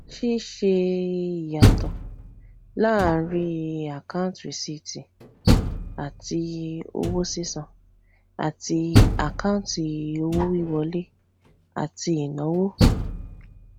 ṣíṣe ìyàtọ láàárín àkáǹtì rìsíìtì àti owó sísan àti àkáǹtì owó wiwọlé àti ìnáwó